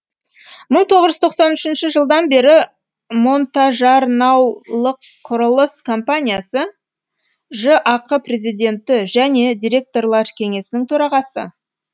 мың тоғыз жүз тоқсан үшінші жылдан бері монтажарнаулықұрылыс компаниясы жақ президенті және директорлар кеңесінің төрағасы